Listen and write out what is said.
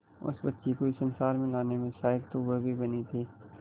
उस बच्ची को इस संसार में लाने में सहायक तो वह भी बनी थी